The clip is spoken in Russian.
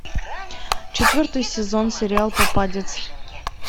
четвертый сезон сериал попадец